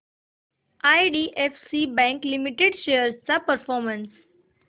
IDFC bank limited shares चा performance